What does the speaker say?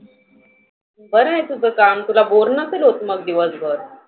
बरं आहे तुझ काम तुला बोर नसेल होत मग दिवसभर.